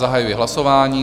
Zahajuji hlasování.